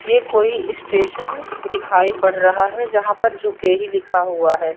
ये कोई स्टेशन दिखाई पड़ रहा है जहां पर झुके ही लिखा हुआ है।